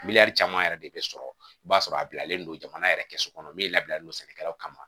Miliyɔn caman yɛrɛ de bɛ sɔrɔ i b'a sɔrɔ a bilalen don jamana yɛrɛ kɛso kɔnɔ ne labilalen don sɛnɛkɛlaw kama